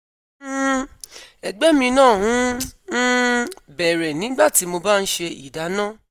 um Ẹgbẹ́ mi náà ń um bẹ̀rẹ̀ nígbà tí mo bá ń ṣe ìdáná